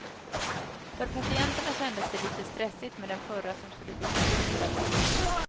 För patienterna kändes det lite stressigt med den förra som skulle bytas ut hela tiden.